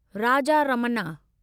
Raja Ramanna